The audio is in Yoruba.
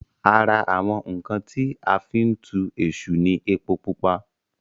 ara àwọn ǹkan tí a fí ń tu èṣù ní epo pupa